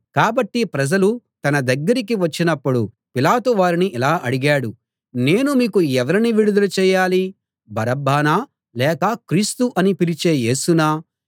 కాబట్టి ప్రజలు తన దగ్గరికి వచ్చినప్పుడు పిలాతు వారిని ఇలా అడిగాడు నేను మీకు ఎవరిని విడుదల చేయాలి బరబ్బనా లేక క్రీస్తు అని పిలిచే యేసునా